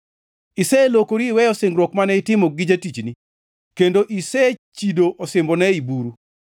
Iselokori iweyo singruok mane itimo gi jatichni, kendo isechido osimbone ei buru.